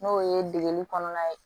N'o ye degeli kɔnɔna ye